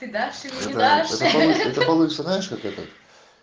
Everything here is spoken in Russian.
всегда всегда что нибудь получится знаешь как этот